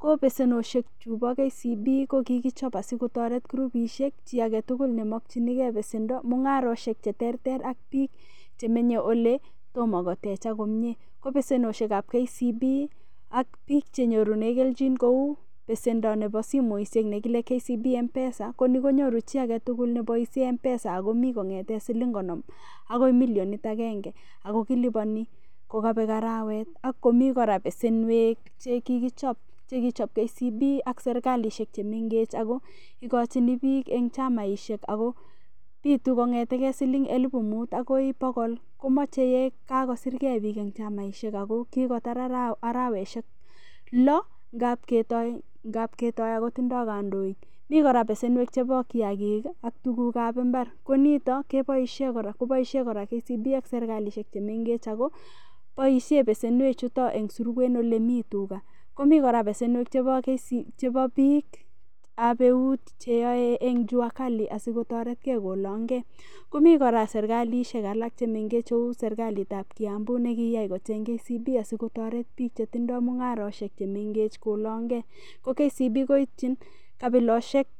ko besenosiek chubo KCB ko kikichon asikotoret kurubisiek chi agetugul nemokyingen besendo, mung'arosiek cheterter ab biik chemenye oletomo kotechak komyee, ko besenosiek ab KCB ab biik chenyorunen kenjin kou besendo nebo simoisiek negile KCB mpesa ko nenyoru chi agetugul neboisien Mpesa akomi kong'eten siling konom agoi Milionit agenge, ako kiliboni kokabek arawet ak komi kora besenwek chekichob KCB ak serkalisiek chemeng'ech ako ikojini biik en chamaisiek ako bitu kong'etegen siling elibu muut agoi bogol, komoche ye kakosiryen biik en chamaisiek ako kokotar arowek loo g'ab ketoi ako tindo kondoik, mi kora besenwek chebo kiagik ii ak tuguk ab imbar ko nito kobaisien kora KCB ak serkalisiek chemeng'ech ako boisie besenwek chuto en surwe en olemituga, komi kora besenwek ab biik ab eut cheyoe en Jua kali asikotoretke kolongen, komi kora serkalisiek chemeng'ech kou serkalit ab Kiambu negiyai kocheng KCB asikotoret biik chetindoi mung'arosiek chemeng'ech kolongen, ko KCB koityin kabilosyek.